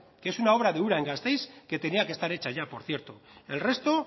que es una obra de ura en gasteiz que tenía que estar hecha ya por cierto el resto